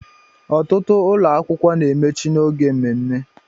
Ọtụtụ ụlọ akwụkwọ na-emechi n'oge mmemme